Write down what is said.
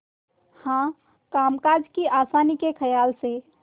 हाँ कामकाज की आसानी के खयाल से